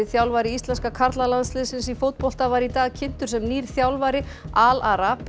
þjálfari íslenska karlalandsliðsins í fótbolta var í dag kynntur sem nýr þjálfari Al